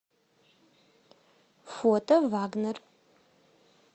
фото вагнер